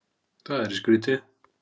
Það yrði skrýtið!